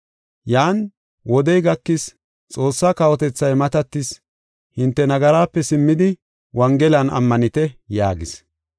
Yan, “Wodey gakis; Xoossaa kawotethay matatis. Hinte nagaraape simmidi, Wongelan ammanite” yaagis.